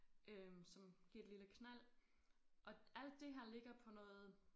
Øh som giver et lille knald og alt det her ligger på noget